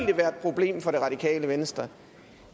det være et problem for det radikale venstre